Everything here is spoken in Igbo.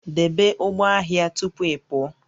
Debe ụgbọ ahịa tupu ị pụọ